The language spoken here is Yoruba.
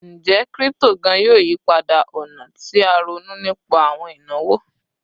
Njẹ crypto gaan yoo yipada ọna ti a ronu nipa awọn inawo?